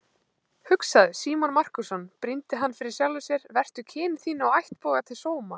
Hugsaðu, Símon Markússon, brýndi hann fyrir sjálfum sér, vertu kyni þínu og ættboga til sóma!